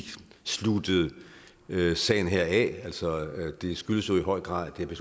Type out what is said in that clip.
sluttet sagen her af det skyldes jo i høj grad at det